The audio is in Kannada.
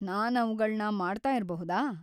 ನಾನ್ ಅವ್ಗಳ್ನ ಮಾಡ್ತಾ ಇರ್ಬಹುದಾ?